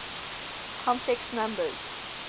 complex numbers